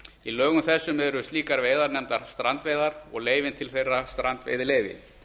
í lögum þessum eru slíkar veiðar nefndar strandveiðar og leyfin til þeirra veiða strandveiðileyfi